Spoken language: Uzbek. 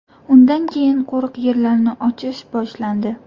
Undan keyin qo‘riq yerlarni ochish boshlandi.